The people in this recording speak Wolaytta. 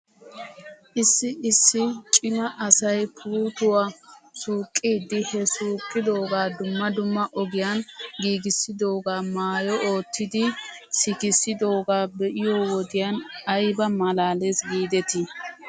Issi issi cima asay puuttuwaa suqqidi he suqqidoogaa dumma dumma ogiyan giigissidoogaa maayo oottidi sikissidoogaa be'iyoo wodiyan ayba malaales giidetii.